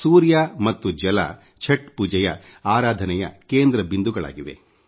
ಸೂರ್ಯ ಮತ್ತು ಜಲ ಛಟ್ ಪೂಜೆಯ ಆರಾಧನೆಯ ಕೇಂದ್ರ ಬಿಂದುಗಳಾಗಿವೆ